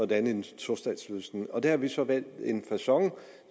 danne en tostatsløsning og der har vi så valgt en facon